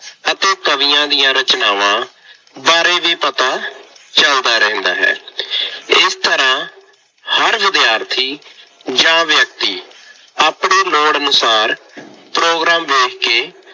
ਅਤੇ ਕਵੀਆਂ ਦੀਆਂ ਰਚਨਾਵਾਂ ਬਾਰੇ ਵੀ ਪਤਾ ਚੱਲਦਾ ਰਹਿੰਦਾ ਹੈ। ਇਸ ਤਰ੍ਹਾਂ ਹਰ ਵਿਦਿਆਰਥੀ ਜਾਂ ਵਿਅਕਤੀ ਆਪਣੇ ਲੋੜ ਅਨੁਸਾਰ ਪ੍ਰੋਗਰਾਮ ਵੇਖ ਕੇ